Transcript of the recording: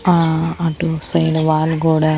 ఆ అటు side wall గోడ--